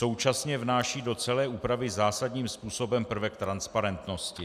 Současně vnáší do celé úpravy zásadním způsobem prvek transparentnosti.